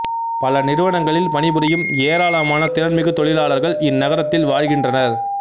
பல நிறுவனங்களில் பணிபுரியும் ஏராளமான திறன்மிகு தொழிலாளர்கள் இந்நகரத்தில் வாழ்கின்றனர்